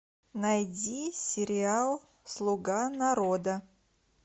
найди сериал слуга народа